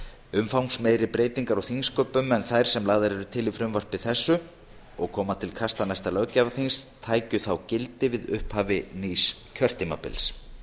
umfangsmeiri breytingar á þingsköpum en þær sem lagðar eru til í frumvarpi þessu og koma til kasta næsta löggjafarþings tækju þá gildi við upphaf nýs kjörtímabils